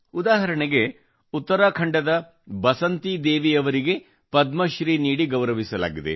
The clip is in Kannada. ಉದಾಹರಣೆಗೆ ಉತ್ತರಾಖಂಡದ ಬಸಂತಿದೇವಿ ಅವರಿಗೆ ಪದ್ಮಶ್ರೀ ನೀಡಿ ಗೌರವಿಸಲಾಗಿದೆ